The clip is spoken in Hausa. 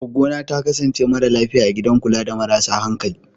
Goggona ta kasance mara lafiya a gidan kula da marasa hankali.